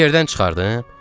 Yerdən çıxardım?